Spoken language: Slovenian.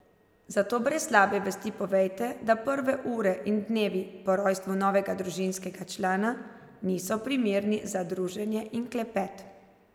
Zato brez slabe vesti povejte, da prve ure in dnevi po rojstvu novega družinskega člana, niso primerni za druženje in klepet.